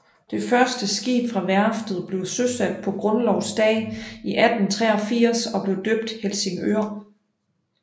Det første skib fra værftet blev søsat på grundlovsdag 1883 og blev døbt Helsingør